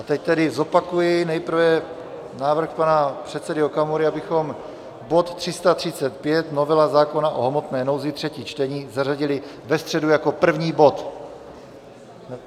A teď tedy zopakuji nejprve návrh pana předsedy Okamury, abychom bod 335, novela zákona o hmotné nouzi, třetí čtení, zařadili ve středu jako první bod.